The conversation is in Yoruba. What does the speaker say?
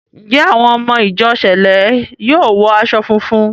Ǹjẹ́ àwọn ọmọ ìjọ sẹ̀lẹ́ yóò wọ aṣọ funfun?